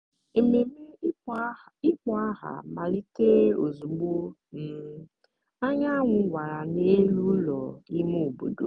ememe ịkpọ aha malitere ozugbo um anyanwụ wara n’elu ụlọ ime obodo.